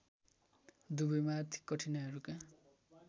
दुबईमा आर्थिक कठिनाइहरूका